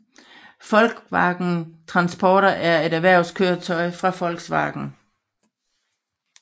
Volkswagen Transporter er et erhvervskøretøj fra Volkswagen